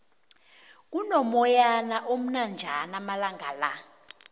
kuno moyana omnanjana amalangala